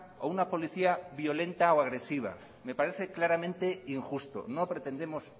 o una policía violenta o agresiva me parece claramente injusto no pretendemos